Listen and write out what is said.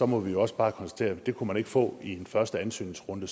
må vi også bare konstatere at det kunne man ikke få i den første ansøgningsrunde